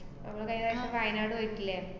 നമ്മ കയിഞ്ഞ പ്രാവശ്യം വയനാട് പോയിട്ടില്ലേ?